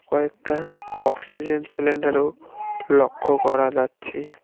কয়েকটা অক্সিজেন সিলিন্ডারও লক্ষ করা যাচ্ছে।